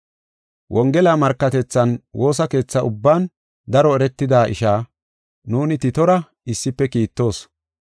Wongela markatethan woosa keetha ubban daro eretida isha, nuuni Titora issife kiittoos.